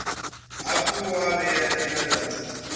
hafhu wa vhea ndila dza